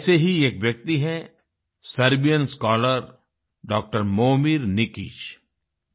ऐसे ही एक व्यक्ति हैं सर्बियन स्कॉलर डॉ Momir Nikic Serbian scholar D R